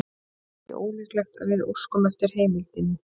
Það er ekki ólíklegt að við óskum eftir heimildinni.